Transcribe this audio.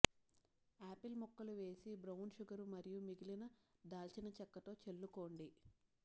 apple ముక్కలు వేసి brown sugar మరియు మిగిలిన దాల్చినచెక్కతో చల్లుకోండి